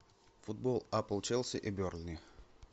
футбол апл челси и бернли